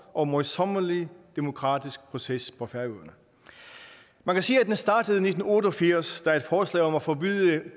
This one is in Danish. og møjsommelig demokratisk proces på færøerne man kan sige at den startede i nitten otte og firs da et forslag om at forbyde